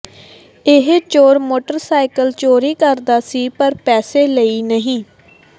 ਇਹ ਚੋਰ ਮੋਟਰਸਾਈਕਲ ਚੋਰੀ ਕਰਦਾ ਸੀ ਪਰ ਪੈਸੇ ਲਈ ਨਹੀਂ